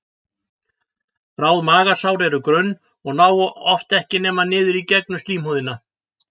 Bráð magasár eru grunn og ná oft ekki nema niður í gegnum slímhúðina.